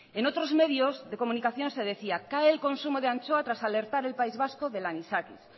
en otros medios de comunicación se decía cae el consumo de anchoa tras alertar el país vasco del anisakis